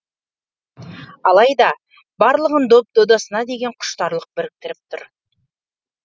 алайда барлығын доп додасына деген құштарлық біріктіріп тұр